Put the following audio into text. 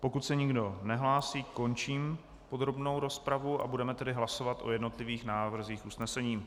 Pokud se nikdo nehlásí, končím podrobnou rozpravu a budeme tedy hlasovat o jednotlivých návrzích usnesení.